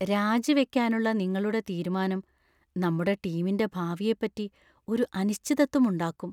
രാജിവെക്കാനുള്ള നിങ്ങളുടെ തീരുമാനം നമ്മുടെ ടീമിന്‍റെ ഭാവിയെപ്പറ്റി ഒരു അനിശ്ചിതത്വം ഉണ്ടാക്കും.